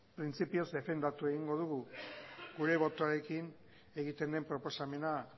printzipioz defendatu egingo dugu gure botoarekin egiten den proposamena